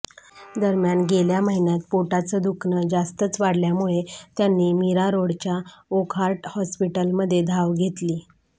दरम्यान गेल्या महिन्यात पोटाचं दुखणं जास्तच वाढल्यामुळे त्यांनी मीरा रोडच्या वोक्हार्ट हॉस्पिटलमध्ये धाव घेतली